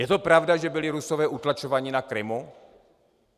Je to pravda, že byli Rusové utlačováni na Krymu?